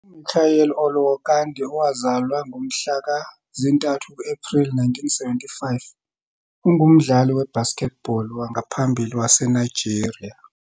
UMichael Olowokandi, owazalwa ngomhla ka zintathu Ephreli 1975, ungumdlali we-basketball wangaphambili waseNigeria.